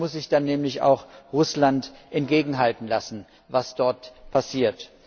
Dann muss sich nämlich auch Russland entgegenhalten lassen, was dort passiert.